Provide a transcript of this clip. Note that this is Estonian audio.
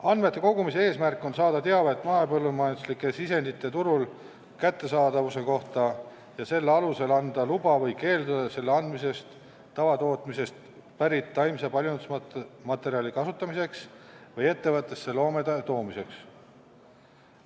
Andmete kogumise eesmärk on saada teavet mahepõllumajanduslike sisendite turul kättesaadavuse kohta ja selle alusel anda luba või keelduda selle andmisest tavatootmisest pärit taimse paljundusmaterjali kasutamiseks või ettevõttesse loomade toomiseks.